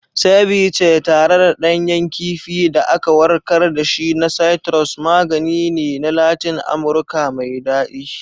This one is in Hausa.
Ceviche, tare da ɗanyen kifin da aka warkar da shi na citrus, magani ne na Latin Amurka mai daɗi.